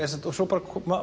svo